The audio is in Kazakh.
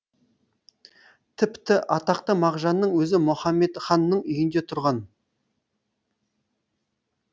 тіпті атақты мағжанның өзі мұхамедханның үйінде тұрған